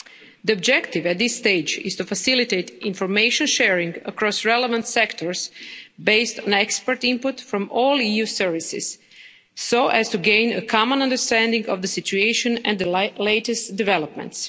The objective at this stage is to facilitate information sharing across relevant sectors based on expert input from all EU services so as to gain a common understanding of the situation and the latest developments.